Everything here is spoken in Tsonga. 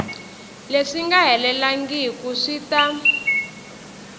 leswi nga helelangiku swi ta